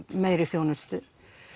meiri þjónustu